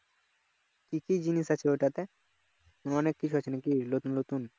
কি কি জিনিস আছে ওটাতে অনেক কিছু আছে নাকি নতুন নতুন